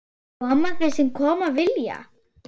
Komi þeir sem koma vilja-?